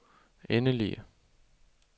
endelige